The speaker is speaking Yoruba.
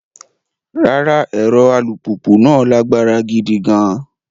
Rárá, ẹ̀rọ alùpùpù náà lágbára gidi gan-an.